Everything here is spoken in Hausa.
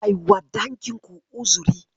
Kai wa dangin ku uzuri.